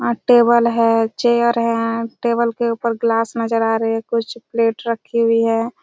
और टेबल है चेयर है टेबल के ऊपर ग्लास नज़र आ रहे है कुछ प्लेट रखे हुए है।